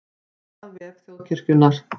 Frétt á vef Þjóðkirkjunnar